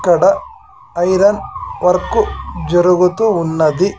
ఇక్కడ iron work జరుగుతూ ఉన్నది .